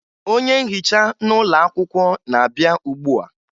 onye nhicha n'ụlọakwụkwọ na-abịa ugbua